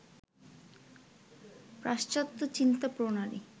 পাশ্চাত্ত্য চিন্তা-প্রণালী